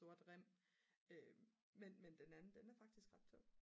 sort rem men den anden den er faktisk ret tung